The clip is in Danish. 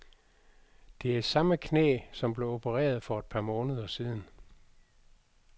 Det er samme knæ, som blev opereret for et par måneder siden.